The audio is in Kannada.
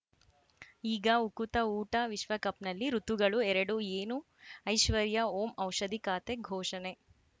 ಈಗ ಉಕುತ ಊಟ ವಿಶ್ವಕಪ್‌ನಲ್ಲಿ ಋತುಗಳು ಎರಡು ಏನು ಐಶ್ವರ್ಯಾ ಓಂ ಔಷಧಿ ಖಾತೆ ಘೋಷಣೆ